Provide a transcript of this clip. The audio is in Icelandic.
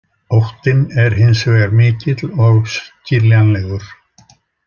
Óttinn er hins vegar mikill og skiljanlegur.